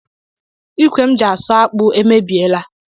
Ikwe m ji asụ akpu emebiela